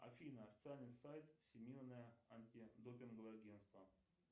афина официальный сайт всемирное антидопинговое агентство